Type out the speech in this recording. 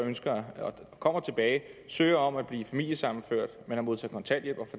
kommer tilbage søger om at blive familiesammenført men har modtaget kontanthjælp og